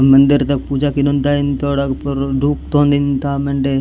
मंदिर द पूजा कोनोन दायंतोड अग पुर धुप तोन दिन था मेंडे।